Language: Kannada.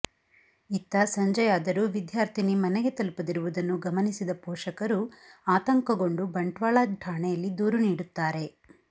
ಇತ್ತ ಸಂಜೆಯಾದರೂ ವಿದ್ಯಾರ್ಥಿನಿ ಮನೆಗೆ ತಲುಪದಿರುವುದನ್ನು ಗಮನಿಸಿದ ಪೋಷಕರು ಆತಂಕಗೊಂಡು ಬಂಟ್ವಾಳ ಠಾಣೆಯಲ್ಲಿ ದೂರು ನೀಡುತ್ತಾರೆ